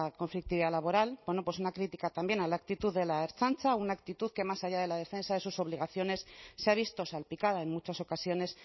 conflictividad laboral bueno pues una crítica también a la actitud de la ertzaintza una actitud que más allá de la defensa de sus obligaciones se ha visto salpicada en muchas ocasiones